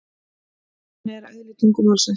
Þannig er eðli tungumálsins.